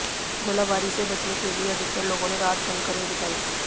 गोलाबारी से बचने के लिए अधिकतर लोगों ने रात बंकर में बिताई